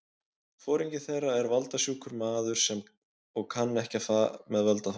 Foringi þeirra er valda- sjúkur maður og kann ekki með völd að fara.